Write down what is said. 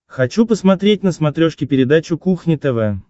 хочу посмотреть на смотрешке передачу кухня тв